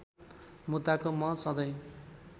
मुद्दाको म सधैँ